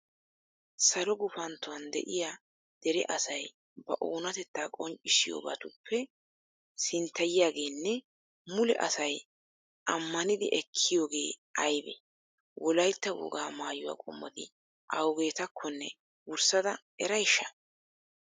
Salo gufanttuwan de'iya dere asay ba oonatettaa qonccissiyobatuppe sinttatiyageenne mule asay ammanidi ekkiyogee aybee? Wolaytta wogaa maayuwa qommoti awugetakkonne wurssada erayshsha?